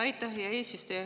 Aitäh, hea eesistuja!